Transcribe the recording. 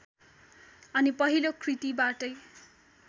अनि पहिलो कृतिबाटै